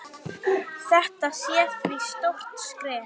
Þetta sé því stórt skref.